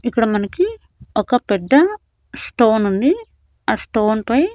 ఇక్కడ మనకి ఒక పెద్ద స్టోనుంది ఆ స్టోన్ పై --